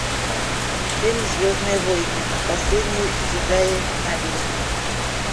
фильм звездные войны последние джедаи набери